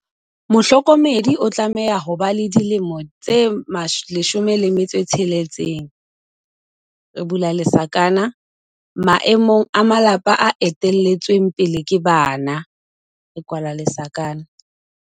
Mohlokomedi o tlameha ho ba le dilemo tse 16, maemong a malapa a ete lletsweng pele ke bana.